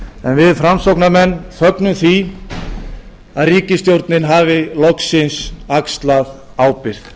við framsóknarmenn fögnum því að ríkisstjórnin hafi loksins axlað ábyrgð um leið segjum